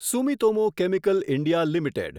Sumitomo Chemical India limited